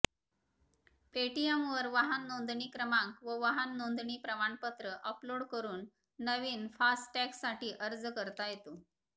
पेटीएमवर वाहन नोंदणी क्रमांक व वाहन नोंदणी प्रमाणपत्र अपलोड करून नवीन फास्टॅगसाठी अर्ज करता येतो